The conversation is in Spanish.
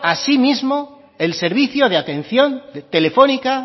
a sí mismo el servicio de atención telefónica